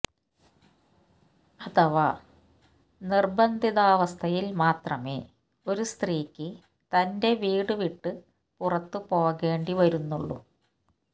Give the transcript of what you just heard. അഥവാ നിർബന്ധിതാവസ്ഥയിൽ മാത്രമേ ഒരു സ്ത്രീക്ക് തന്റെ വീടുവിട്ട് പുറത്തു പോകേണ്ടി വരുന്നുള്ളൂ